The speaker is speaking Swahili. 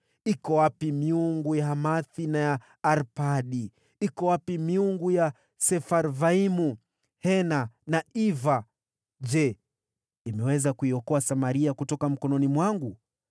Iko wapi miungu ya Hamathi na ya Arpadi? Iko wapi miungu ya Sefarvaimu, Hena na Iva? Je, imeokoa Samaria kutoka mkononi mwangu?